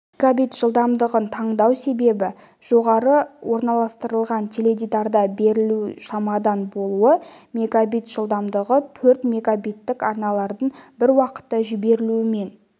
мегабит жылдамдығын таңдау себебі жоғары орналастырылған теледидарда берілу жылдамдығы шамасында болуы мегабит жылдамдығы төрт мегабиттік арналарын бір уақытта жіберумен